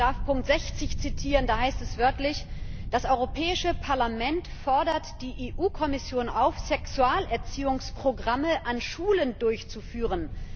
Ich darf Ziffer 60 zitieren, da heißt es wörtlich Das Europäische Parlament fordert die EU Kommission auf, Sexualerziehungsprogramme an Schulen durchzuführen.